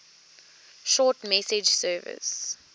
short message service